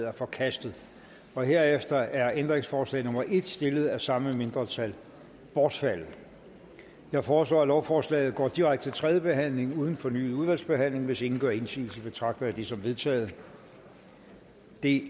er forkastet herefter er ændringsforslag nummer en stillet af samme mindretal bortfaldet jeg foreslår at lovforslaget går direkte til tredje behandlingen uden fornyet udvalgsbehandling hvis ingen gør indsigelse betragter jeg det som vedtaget det